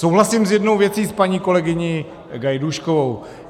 Souhlasím s jednou věcí s paní kolegyní Gajdůškovou.